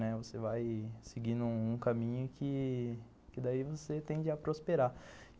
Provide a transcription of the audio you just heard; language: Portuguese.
Né, você vai seguindo um caminho que daí você tende a prosperar.